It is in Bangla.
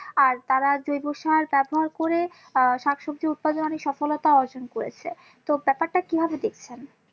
আর তারা জৈব সার ব্যবহার করে আহ শাকসবজি উৎপাদনে অনেক সফলতা অর্জন করেছে তো ব্যাপারটা কি ভাবে দেখ্ছেন্?